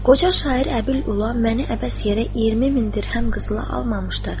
Qoca şair Əbül Ula məni əbəs yerə 20 min dirhəm qızıla almamışdır.